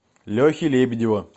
лехи лебедева